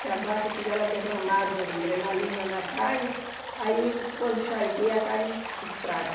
Se a vaca tiver derramado adrenalina na carne, aí quando charqueia a carne es estraga.